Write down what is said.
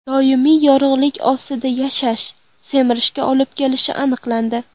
Doimiy yorug‘lik ostida yashash semirishga olib kelishi aniqlandi.